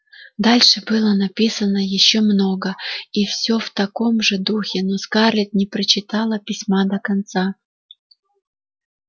дальше было написано ещё много и все в таком же духе но скарлетт не прочитала письма до конца